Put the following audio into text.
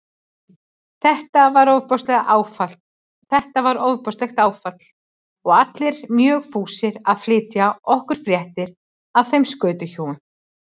Þetta var ofboðslegt áfall og allir mjög fúsir að flytja okkur fréttir af þeim skötuhjúum.